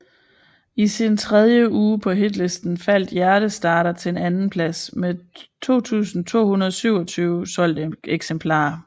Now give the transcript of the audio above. I sin tredje uge på hitlisten faldt Hjertestarter til en andenplads med 2227 solgte eksemplarer